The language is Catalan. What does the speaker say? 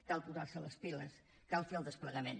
cal posar se les piles cal fer el desplegament